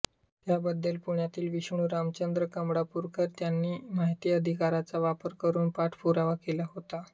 त्याबद्दल पुण्यातील विष्णू रामचंद्र कमळापूरकर यांनी माहिती अधिकाराचा वापर करून पाठपुरावा केला होता